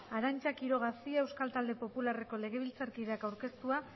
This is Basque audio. arantza quiroga cia euskal talde popularreko legebiltzarkideak aurkeztua